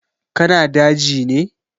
Ka na daji ne?